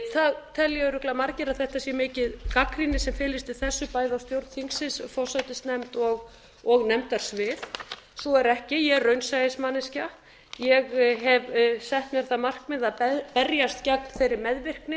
það telja örugglega margir að það sé mikil gagnrýni sem felist í þessu bæði á stjórn þingsins forsætisnefnd og nefndasvið svo er ekki ég er raunsæismanneskja ég hef sett mér það markmið að berjast gegn þeirri meðvirkni